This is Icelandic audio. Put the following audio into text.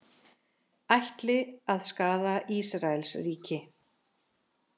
Ætli að skaða Ísraelsríki